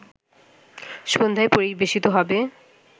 সন্ধ্যায় পরিবেশিত হবে